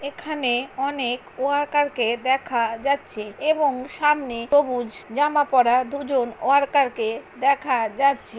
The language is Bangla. এখানে অনেক ওয়ার্কার -কে দেখা যাচ্ছে এবং সামনে সবুজ জামা পরা দুজন ওয়ার্কার -কে দেখা যাচ্ছে।